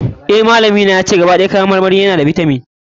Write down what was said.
Eh, malami na yace, gaba ɗaya kayan marmari na cike da bitaminoni.